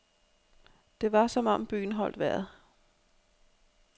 Det var som om byen holdt vejret.